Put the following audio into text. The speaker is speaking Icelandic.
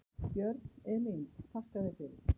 Björn: Elín þakka þér fyrir.